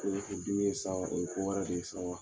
o ye ko wɛrɛ de ye sa